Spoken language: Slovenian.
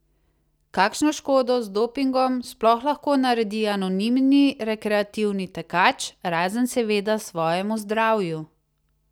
Kakšno škodo z dopingom sploh lahko naredi anonimni rekreativni tekač, razen seveda svojemu zdravju?